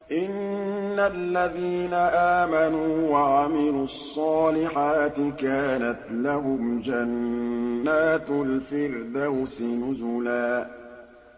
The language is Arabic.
إِنَّ الَّذِينَ آمَنُوا وَعَمِلُوا الصَّالِحَاتِ كَانَتْ لَهُمْ جَنَّاتُ الْفِرْدَوْسِ نُزُلًا